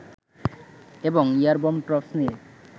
এবং airborne troops নিয়ে